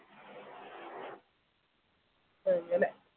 അങ്ങനെ